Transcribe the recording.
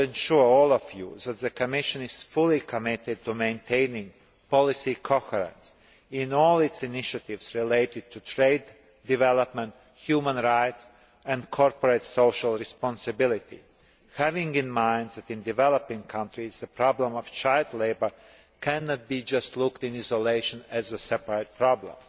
I would like to assure all of you that the Commission is fully committed to maintaining policy coherence in all its initiatives related to trade, development, human rights and corporate social responsibility, bearing in mind that in developing countries the problem of child labour cannot be just looked at in isolation as a separate problem.